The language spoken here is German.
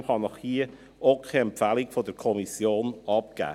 Deshalb kann ich Ihnen hier keine Empfehlung der Kommission abgeben.